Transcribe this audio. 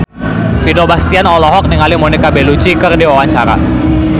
Vino Bastian olohok ningali Monica Belluci keur diwawancara